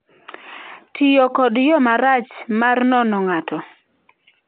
"""{ tiyo kod yo marach mar nono ng'ato}."